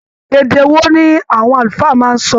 Èdè wò ní àwọn àlùfáà máa n sọ?